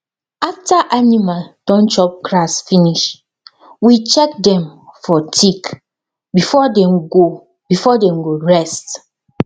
after animal don chop grass finish we check dem for tick before dem go before dem go rest